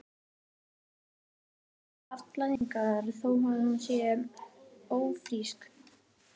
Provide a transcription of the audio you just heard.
Hversu oft getur kona haft blæðingar þó að hún sé ófrísk?